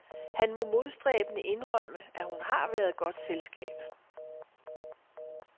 Han må modstræbende indrømme, at hun har været godt selskab.